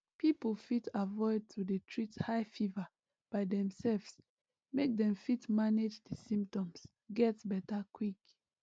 people fit avoid to dey treat high fever by demselves make dem fit manage di symptoms get beta quick